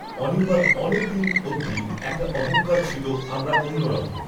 অনির্বাণ অনেক দিন অবধি একটা অহঙ্কার ছিল আমরা অন্য রকম